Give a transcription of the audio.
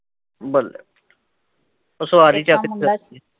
ਬੱਲੇ ਉਹ ਸਵਾਰੀ ਚੱਕਦੀ ਚੱਕਦੀ